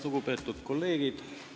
Lugupeetud kolleegid!